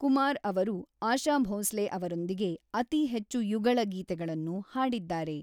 ಕುಮಾರ್ ಅವರು ಆಶಾ ಭೋಂಸ್ಲೆ ಅವರೊಂದಿಗೆ ಅತಿ ಹೆಚ್ಚು ಯುಗಳ ಗೀತೆಗಳನ್ನು ಹಾಡಿದ್ದಾರೆ.